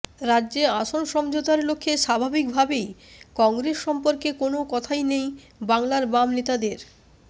রাজ্যে আসন সমঝোতার লক্ষ্যে স্বাভাবিকভাবেই কংগ্রেস সম্পর্কে কোনও কথা নেই বাংলার বাম নেতাদের